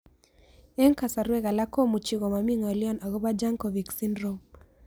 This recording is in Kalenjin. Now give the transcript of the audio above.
Eng' kasarwek alak komuchi komami ng'olyo akopo Jankovic Syndrome